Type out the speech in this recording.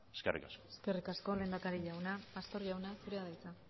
eskerrik asko eskerrik asko lehendakari jauna pastor jauna zurea da hitza